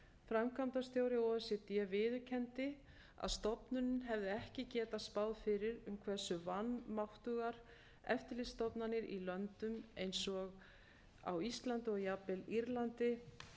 framkvæmdastjóri o e c d viðurkenndi að stofnunin hefði ekki getað spáð fyrir um hversu vanmáttugar eftirlitsstofnanir í löndum eins og íslandi og jafnvel írlandi